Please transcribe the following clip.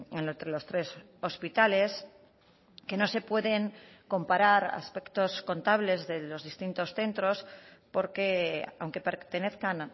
en los tres hospitales que no se pueden comparar aspectos contables de los distintos centros porque aunque pertenezcan